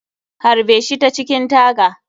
Harbe shi ta cikin taga.